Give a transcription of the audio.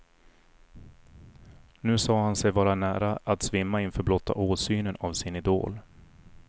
Nu sade han sig vara nära att svimma inför blotta åsynen av sin idol.